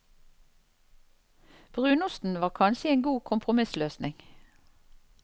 Brunosten var kanskje en god kompromissløsning.